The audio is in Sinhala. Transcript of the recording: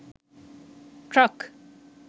truck